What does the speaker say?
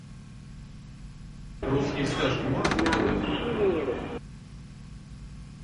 русские сказки можешь показать